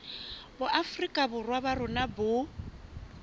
boafrika borwa ba rona bo